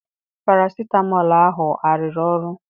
Parasitamọl ahụ arụrụ ọrụ?